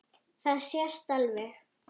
Það sést alveg.